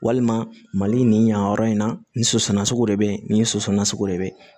Walima mali nin yan yɔrɔ in na nin soso nasugu de bɛ yen nin soso nasugu de bɛ yen